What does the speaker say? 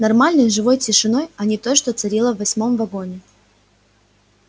нормальной живой тишиной а не той что царила в восьмом вагоне